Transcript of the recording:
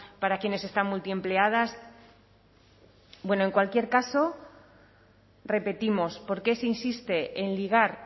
para quienes están multiempleadas bueno en cualquier caso repetimos por qué se insiste en ligar